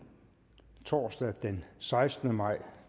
torsdag den sekstende maj